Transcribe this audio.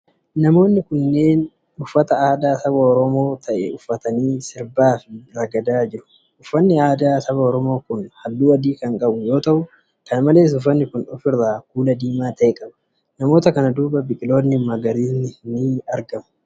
Namoonni kunneen, uffata aadaa saba Oromoo ta'e uffatanii sirbaa fi ragadaa jiru. Uffanni aadaa saba Oromoo kun haalluu adii kan qabu yoo ta'u, kana malees uffanni kun of irraa kuula diimaa ta'e qaba. Namoota kana duuba biqiloonni magariisni ni jiru.